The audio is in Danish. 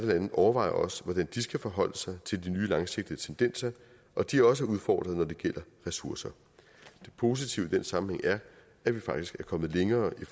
lande overvejer også hvordan de skal forholde sig til de nye langsigtede tendenser og de er også udfordret når det gælder ressourcer det positive i den sammenhæng er at vi faktisk er kommet længere i